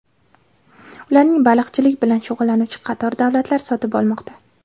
Ularni baliqchilik bilan shug‘ullanuvchi qator davlatlar sotib olmoqda.